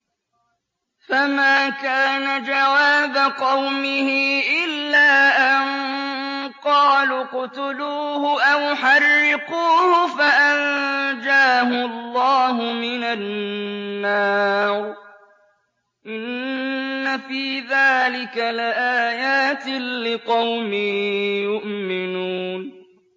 فَمَا كَانَ جَوَابَ قَوْمِهِ إِلَّا أَن قَالُوا اقْتُلُوهُ أَوْ حَرِّقُوهُ فَأَنجَاهُ اللَّهُ مِنَ النَّارِ ۚ إِنَّ فِي ذَٰلِكَ لَآيَاتٍ لِّقَوْمٍ يُؤْمِنُونَ